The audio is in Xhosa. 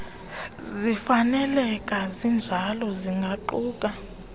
zifaneleke zinjalo zingaquka